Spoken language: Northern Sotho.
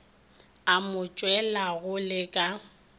a mo tshwelago le ka